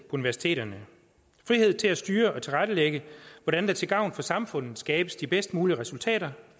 universiteterne frihed til at styre og tilrettelægge hvordan der til gavn for samfundet skabes de bedst mulige resultater